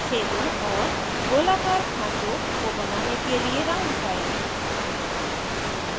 और छेदों और गोलाकार खाँचों के लिए : राउंड फाइल